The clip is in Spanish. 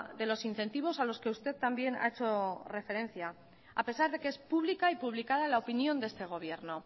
de los incentivos a los que usted también ha hecho referencia a pesar de que es pública y publicada la opinión de este gobierno